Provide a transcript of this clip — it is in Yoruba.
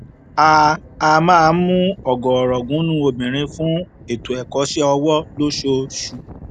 a a máa ń mú ọgọọrọgùnún obìnrin fún ètò ẹkọṣẹ ọwọ lóṣooṣù